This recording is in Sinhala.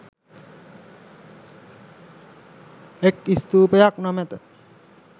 එක් ස්ථූපයක් නොමැත